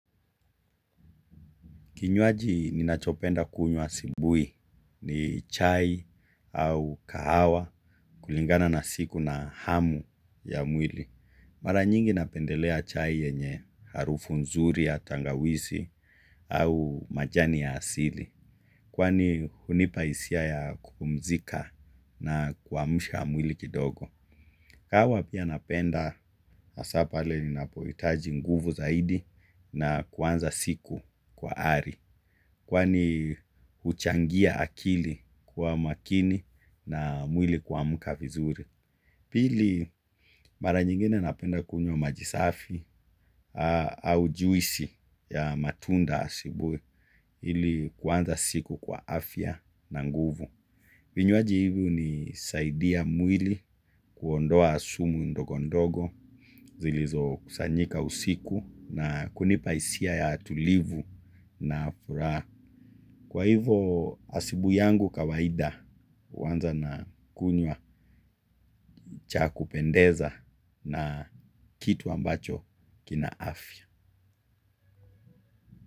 Kinywaji ninachopenda kunywa asubuhi ni chai au kahawa kulingana na siku na hamu ya mwili. Mara nyingi napendelea chai yenye harufu nzuri ya tangawizi au majani ya asili. Kwani hunipa hisia ya kupumzika na kuamsha mwili kidogo. Kahawa pia napenda hasa pale ninapohitaji nguvu zaidi na kuanza siku kwa ari. Kwani huchangia akili kuwa makini na mwili kuamka vizuri. Pili mara nyingine napenda kunywa majisafi au juisi ya matunda asubuhi ili kuanza siku kwa afya na nguvu. Vinywaji hivi hunisaidi mwili kuondoa sumu ndogo ndogo zilizokusanyika usiku, kujipa hisia ya tulivu na furaha kwa hivo asubuhi yangu kawaida huanza na kunywa cha kupendeza na kitu ambacho kina afya.